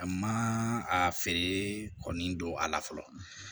A ma a feere kɔni don a la fɔlɔ